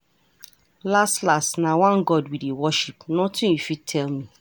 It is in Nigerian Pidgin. Las las, na one God we dey worship, nothing you fit tell me.